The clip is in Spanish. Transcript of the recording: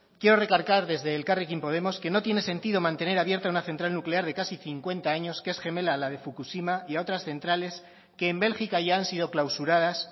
quiero recalcar desde elkarrekin podemos que no tiene sentido mantener abierta una central nuclear de casi cincuenta años que es gemela a la de fukushima y a otras centrales que en bélgica ya han sido clausuradas